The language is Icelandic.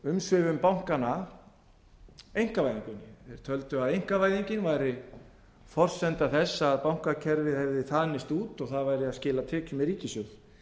umsvifum bankanna einkavæðinguna þeir töldu að einkavæðingin væri forsenda þess að bankakerfið hefði þanist út og það væri að skila tekjum í ríkissjóð